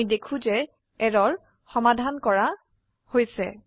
আমি দেখো যে এৰৰ সমাধান কৰা হৈছে